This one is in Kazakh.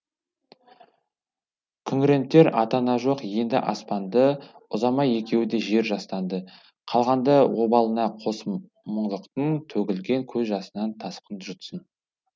күңірентер ата ана жоқ енді аспанды ұзамай екеуі де жер жастанды қалғанды обалына қос мұңлықтың төгілген көз жасынан тасқын жұтсын